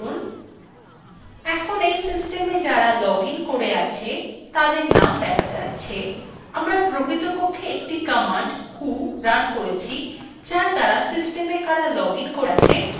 এখন we systema যারা log in করে আছে তাদের name দেখা যাচ্ছে আমরা প্রকৃতপক্ষে একটি command who রান করেছি যার দ্বারা systema কারা log in করে আছে ত়া দেখা যায়